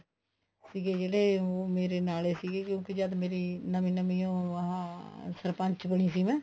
ਸੀਗੇ ਜਿਹੜੇ ਉਹ ਮੇਰੇ ਨਾਲ ਹੀ ਸੀਗੇ ਵੀ ਜਦ ਮੇਰੀ ਨਵੀਂ ਨਵੀਂ ਉਹ ਆਹ ਸਰਪੰਚ ਬਣੀ ਸੀ ਮੈਂ